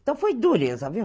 Então foi dureza, viu?